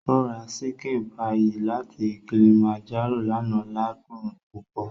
Ó ra ṣíkìn páyì láti Kilimanjaro lánàá ládùn púpọ̀